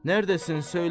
Nərdəsan, söylə.